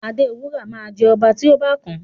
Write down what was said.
Adewura ma jẹ ọba ti o kàn.